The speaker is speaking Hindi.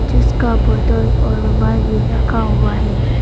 जिसका बोतल और रुमाल भी रखा हुआ है।